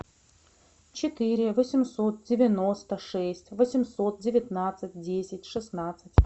четыре восемьсот девяносто шесть восемьсот девятнадцать десять шестнадцать